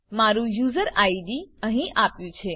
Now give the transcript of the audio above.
મારું user ID અહીં આપ્યું છે